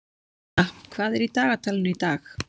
Guðna, hvað er í dagatalinu í dag?